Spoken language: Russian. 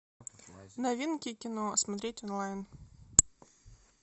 новинки кино смотреть онлайн